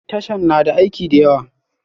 Tashan na da aiki da yawa